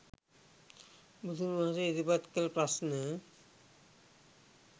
බුදුන් වහන්සේ ඉදිරිපත් කළ ප්‍රශ්න